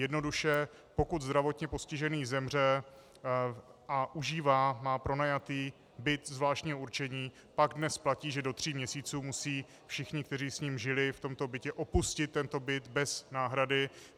Jednoduše pokud zdravotně postižený zemře a užívá, má pronajatý byt zvláštního určení, pak dnes platí, že do tří měsíců musí všichni, kteří s ním žili v tomto bytě, opustit tento byt bez náhrady.